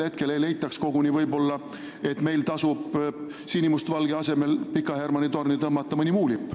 Võib-olla muidu leitakse ühel hetkel koguni, et meil tasuks sinimustvalge asemel tõmmata Pika Hermanni torni mõni muu lipp.